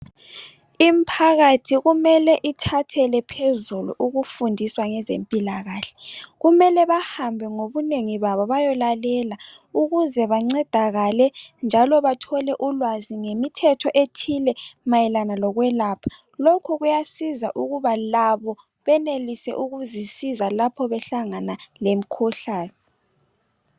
Imphakathi kumele ithathele phezulu ukufundiswa ngabezempilakahle. Kumele bahambe ngobunengi babo, bayelalela. Ukuze bancedakale., njalo bathole ulwazi ngemithetho ethile mayelana lokwelapha. Lokhu kuyasiza ukuze labo benelise ukuzisiza uma behlangana lemikhuhlane.